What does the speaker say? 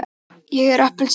ég er appelsína.